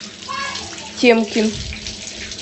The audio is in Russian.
темкин